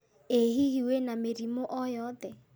ĩ hihi wĩna mĩrimũ o yothe?